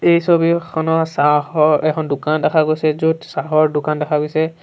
এই ছবিখনত চাহৰ এখন দোকান দেখা গৈছে য'ত চাহৰ দোকান দেখা গৈছে।